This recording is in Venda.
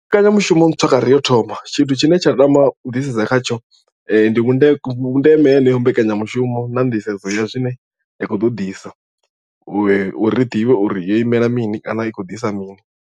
Mbekanyamushumo ntswa kha re yo thoma tshithu tshine tsha tama u ḓisedza khatsho ndi vhundeme vhundeme heneyo mbekanyamushumo na nḓisedzo ya zwine ya khou ḓo ḓisa u uri ri ḓivhe uri yo imela mini kana i khou ḓisa mini.